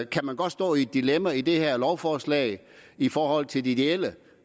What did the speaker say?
kan man godt stå i et dilemma i det her lovforslag i forhold til det ideelle